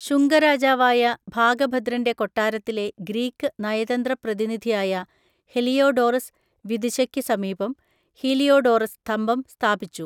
ശുംഗരാജാവായ ഭാഗഭദ്രന്റെ കൊട്ടാരത്തിലെ ഗ്രീക്ക് നയതന്ത്ര പ്രതിനിധിയായ ഹെലിയോഡോറസ് വിദിശയ്ക്ക് സമീപം ഹീലിയോഡോറസ് സ്തംഭം സ്ഥാപിച്ചു.